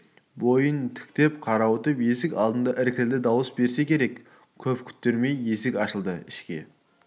бойын тіктеп қарауытып есік алдында іркілді дыбыс берсе керек көп күттірмей есік ашылды ішке